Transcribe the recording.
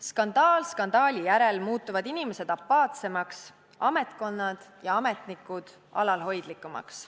Skandaal skandaali järel muutuvad inimesed apaatsemaks, ametkonnad ja ametnikud alalhoidlikumaks.